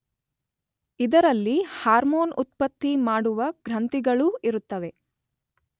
ಇದರಲ್ಲಿ ಹಾರ್ಮೋನ್ ಉತ್ಪತ್ತಿ ಮಾಡುವ ಗ್ರಂಥಿಗಳೂ ಇರುತ್ತವೆ.